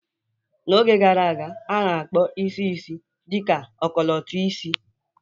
N'oge gara aga, a na-akpọ isi isii dị ka ọkọlọtọ isii